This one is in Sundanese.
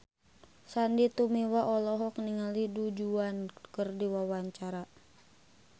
Sandy Tumiwa olohok ningali Du Juan keur diwawancara